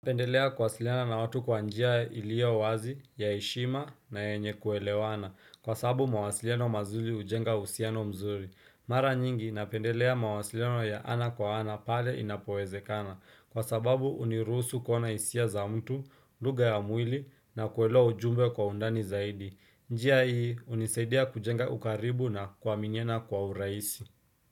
Napendelea kuwasiliana na watu kwa njia iliyo wazi ya heshima, na yenye kuelewana kwa sababu mwasiliano mazuri hujenga uhusiano mzuri. Mara nyingi napendelea mwasiliano ya ana kwa ana pale inapowezekana kwa sababu hunirusu kona hisia za mtu, lugha ya mwili na kuelewa ujumbe kwa undani zaidi. Njia hii hunisaidia kujenga ukaribu na kuaminiana kwa urahisi.